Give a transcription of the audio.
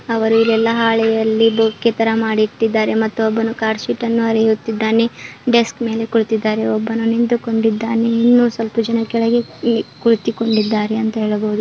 ಅವರು ಎಲ್ಲ ಹಾಳೆಯಲ್ಲಿ ಬೊಕ್ಕೆ ತರ ಮಾಡಿಟ್ಟಿದ್ದಾರೆ ಮತೊಬ್ಬನು ಕಾರ್ಡ್ ಶೀಟ್ ಅನ್ನು ಹರಿಯುತ್ತಿದ್ದಾನೆ ಡೆಸ್ಕ್ ಮೇಲೆ ಕುಳಿತಿದ್ದಾರೆ ಒಬ್ಬನು ನಿಂತುಕೊಂಡಿದ್ದಾನೆ ಇನ್ನು ಸ್ವಲ್ಪ ಜನ ಕೆಳಗೆ ಕುಳಿ ಕುಳಿತಿಕೊಂಡಿದ್ದಾರೆ ಎಂದು ಹೇಳಬಹುದು.